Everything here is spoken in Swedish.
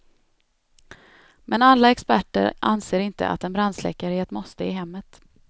Men alla experter anser inte att en brandsläckare är ett måste i hemmet.